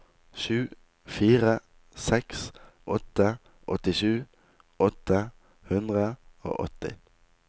sju fire seks åtte åttisju åtte hundre og åtti